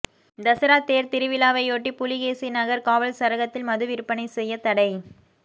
தசரா தோ் திருவிழாவையொட்டி புலிகேசிநகா் காவல் சரகத்தில் மது விற்பனை செய்ய தடை